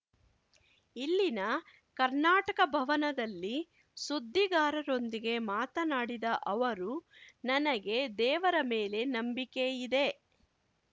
ಇಲ್ಲಿನ ಕರ್ನಾಟಕ ಭವನದಲ್ಲಿ ಸುದ್ದಿಗಾರರೊಂದಿಗೆ ಮಾತನಾಡಿದ ಅವರು ನನಗೆ ದೇವರ ಮೇಲೆ ನಂಬಿಕೆಯಿದೆ